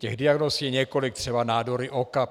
Těch diagnóz je několik, třeba nádory oka.